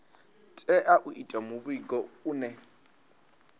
tea u itiwa muvhigo une